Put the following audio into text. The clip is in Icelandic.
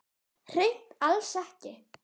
Hreint alls ekki.